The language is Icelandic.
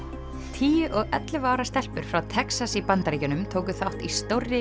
tíu og ellefu ára stelpur frá Texas í Bandaríkjunum tóku þátt í stórri